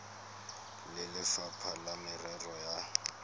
le lefapha la merero ya